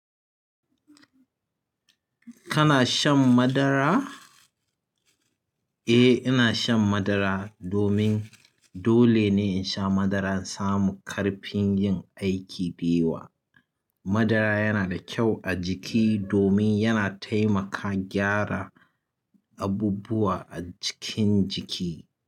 Kana shan madara? Eh, ina shan madara domin dole ne in sha madara in samu ƙarfin yin aiki da yawa. Madara yana da kyau a jiki domin yana taimaka gyara abubuwa a cikin jiki.